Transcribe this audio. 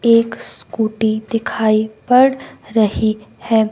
एक स्कूटी दिखाई पड़ रही है।